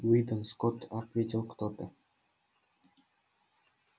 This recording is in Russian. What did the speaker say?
уидон скотт ответил кто-то